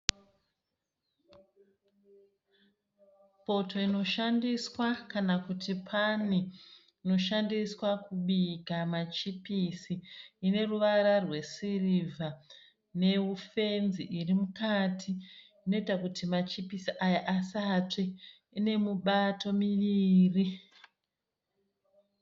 Poto inoshandiswa, kana kuti pani inoshandiswa kubika machipisi ine ruvara rwesirivha, nefenzi irimukati, inoita kuti machipisi aya asatsve. Ine mubato miviri.